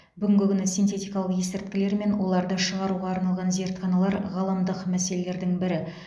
бүгінгі күні синтетикалық есірткілер мен оларды шығаруға арналған зертханалар ғаламдық мәселелердің бірі